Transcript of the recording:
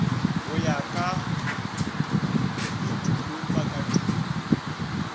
go ya ka etulo pakatiro